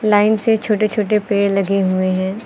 Line से छोटे छोटे पेड़ लगे हुए हैं।